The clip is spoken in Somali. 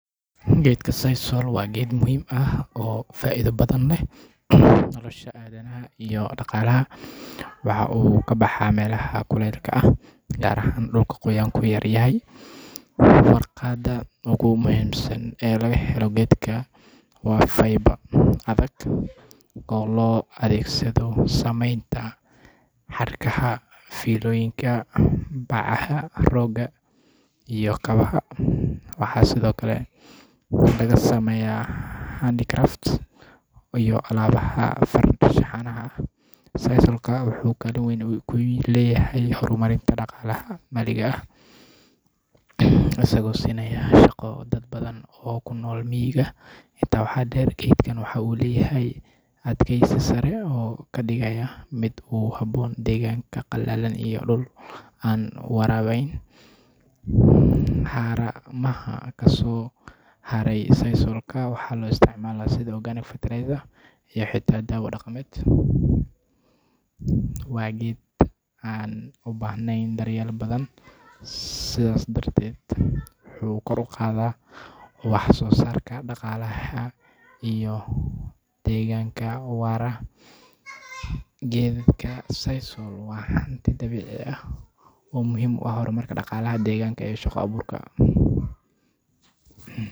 Geedka sisal waa geed muhiim ah oo faa'iido badan u leh nolosha aadanaha iyo dhaqaalaha. Waxa uu ka baxaa meelaha kulaylaha ah, gaar ahaan dhulka qoyaanku yar yahay. Warqadda ugu muhiimsan ee laga helo geedkan waa \fiber\ adag oo loo adeegsado samaynta xadhkaha, fiilooyinka, bacaha, rooga iyo kabaha. Waxaa sidoo kale laga sameeyaa \handicrafts\ iyo alaabaha farshaxanka ah. Sisalka wuxuu kaalin weyn ku leeyahay horumarinta dhaqaalaha maxalliga ah, isagoo siinaya shaqo dad badan oo ku nool miyiga. Intaa waxaa dheer, geedkan waxa uu leeyahay adkaysi sare oo ka dhigaya mid ku habboon deegaanka qallalan iyo dhul aan waraabayn. Haramaha kasoo haray sisalka waxaa loo isticmaalaa sidii \organic fertilizer\ iyo xitaa daawo dhaqameed. Waa geed aan u baahnayn daryeel badan, sidaa darteedna wuxuu kor u qaadaa wax soo saarka dalagga iyo deegaanka waara. Geedka sisal waa hanti dabiici ah oo muhiim u ah horumarka dhaqaalaha, deegaanka, iyo shaqo abuurka.